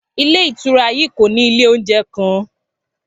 Ilé ìtura yii ko ni ile ounjẹ kan